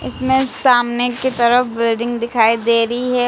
इसमें सामने की तरफ बिल्डिंग दिखाई दे रही है।